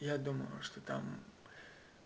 я думаю что там